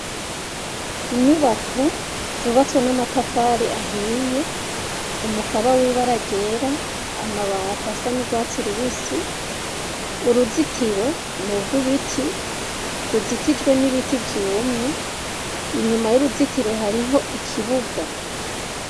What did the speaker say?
Inyubako zubatswe namatafari ahiye umukaba wibara ryera, amabati asa nurwatsi rubisi, uruzitiro nurwibiti rukikujwe nibiti vyumye , inyuma yuruzitiro hariho ikibuga .